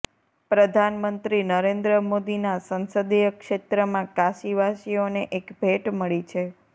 પ્રધાનમંત્રી નરેન્દ્ર મોદીના સંસદીય ક્ષેત્રમાં કાશીવાસીઓને એક ભેટ મળી છે